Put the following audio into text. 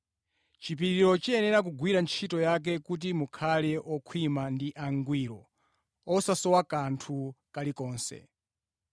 Chipiriro chiyenera kugwira ntchito yake kuti mukhale okhwima ndi angwiro, osasowa kanthu kalikonse.